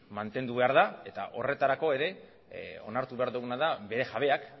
mantendu behar da eta horretarako ere onartu behar duguna da bere jabeak